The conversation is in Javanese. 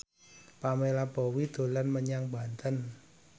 Pamela Bowie dolan menyang Banten